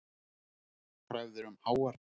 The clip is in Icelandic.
Krafðir um háar bætur